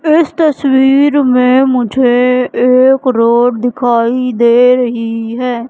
इस तस्वीर में मुझे एक रोड दिखाई दे रही है।